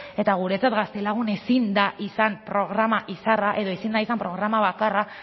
eta guretzat gaztelagun ezin da izan programa izarra edo ezin da izan programa bakarra